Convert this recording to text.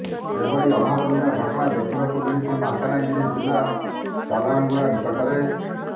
ଏଭଳି ଅଭାବନୀୟ ଘଟଣା ଦେଖିବାକୁ ମିଳିଛି ମାଲକାନଗିରି ଜିଲ୍ଲା ଚାଲାଣଗୁଡା ନିକଟରେ